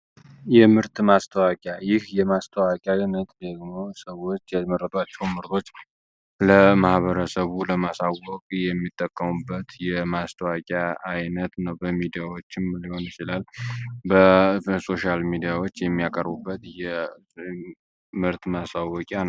የምርት ማስተዋቂያ ይህ የማስተዋቂያ ነት ደግሞ ሰዎች የመረባቸው ምርቶች ለማህበረሰቡ ለማሳወግ የሚጠሙበት የማስተዋቂያ ዓይነት ነው። በሚዲያዎችን ምሊዮን ይችላል በሶሽያል ሚዲያዎች የሚያቀሩበት የ ምርት ማሳወቂያ ነው።